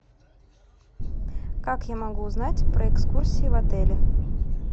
как я могу узнать про экскурсии в отеле